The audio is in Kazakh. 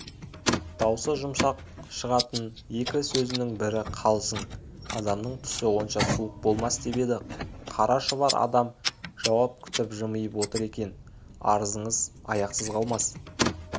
даусы жұмсақ шығатын екі сезінің бірі қалжың адамның түсі онша суық болмас деп еді қара шұбар адам жауап күтіп жымиып отыр екен арызыңыз аяқсыз қалмас